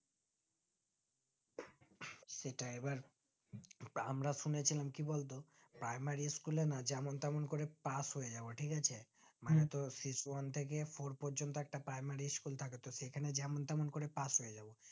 সেটা এবার আমরা শুনেছিলম কি বলতো primary school এ না যেমন তেমন করে pass হয়ে যাওয়া ঠিক আছে মানে তোর শিশু one থেকে four প্রজন্ত একটা primary school এ থাকে তো সেখানে যেমন তেমন করে pass হয়ে যাবো